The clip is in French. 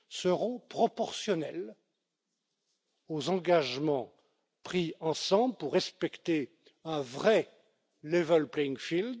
seront proportionnelles aux engagements pris ensemble pour respecter un vrai level playing field